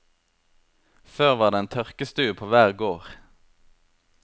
Før var det en tørkestue på hver gård.